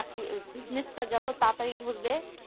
চাকরি bussnies টা যত তারতারি ধরবে